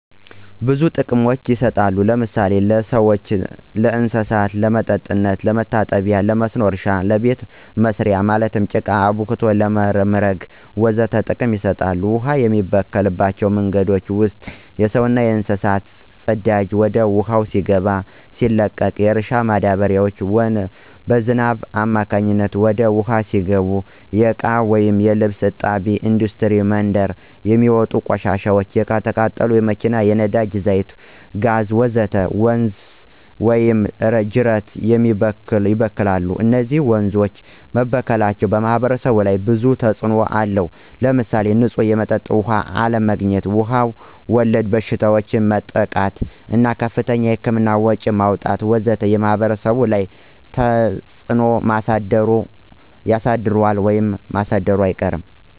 ብዙ ጥቅሞች ይሰጣሉ ለምሳሌ ለሰዎችና ለእንሰሳት ለመጠጥነት፣ ለመታጠቢ ለመስኖ እረሻ ለቤተ መሰሪያ ማለትም ለቃ አብክቶ ለመምረግ ወዘተ ጥቅም ይሰጣሉ። ውሃ የሚበከልባቸው መንገዶች ውስጥ የሰውና የእንስሳት ፅዳጂ ወደ ውሃው ሲገባ ወይም ሲለቀቅ፣ የእርሻ ማዳበሪያዎች በዝናብ አማካኝነት ወደ ውሃው ሲገቡ፣ የእቃዎች ወይም የልብስ እጣቢ፣ እንዱስትሪ ምንድር የሚውጥ ቆሻሻዎች፣ የተቃጠሉ የመኪና የነዳጂ ዛይት ወይም ጋዝ ወዘተ ወንዝ ወይም ጂረት ይበክላል። እነዚህ ወንዞች መበከላቸው በማህበረሰቡ ላይ ብዙ ተጽእኖ አለው። ለምሳሌ ንፁህ የመጠጥ ውሃ አለማግኝት፣ በዉሃ ወለድ በሽታዎች መጠቃት እና ከፍተኛ የህክምና ወጭዎችን ማውጣት ወዘተ በማህበረሰቡ ላይ ተፀ ተጽዕኖ አሳድሯል።